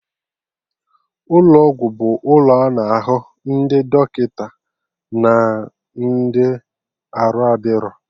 Ụlọ ọgwụ bụ ụlọ a na-ahụ ndị dọkịta na ndị arụ adịro